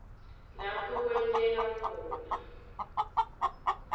lapho kwenteka khona